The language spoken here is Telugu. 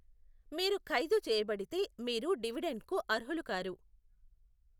మీరు ఖైదు చేయబడితే, మీరు డివిడెండ్కు అర్హులు కారు.